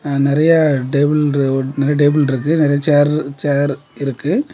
நெறய table one ரெண்டு table இருக்கு. நெறய சேர் சேர் இருக்கு.